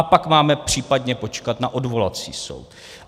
A pak máme případně počkat na odvolací soud.